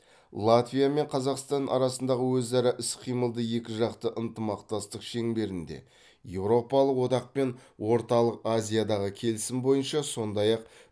латвия мен қазақстан арасындағы өзара іс қимылды екіжақты ынтымақтастық шеңберінде еуропалық одақ пен орталық азиядағы келісім бойынша сондай ақ